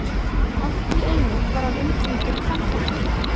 Allt í einu var hann umkringdur kvenfólki.